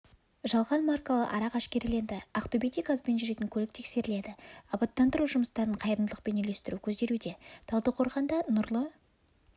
жалған маркалы арақ әшкереленді ақтөбеде газбен жүретін көлік тексеріледі абаттандыру жұмыстарын қайырымдылықпен үйлестіру көзделуде талдықорғанда нұрлы